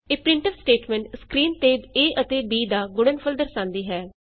ਇਹ printf statements screen ਤੇ a ਅਤੇ b ਦਾ ਗੁਣਨਫਲ ਦਰਸਾਂਦੀ ਹੈ